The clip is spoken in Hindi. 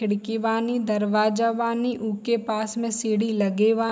खिड़की बानी दरवाजा बानी ऊ के पास में सीढ़ी लगे बा --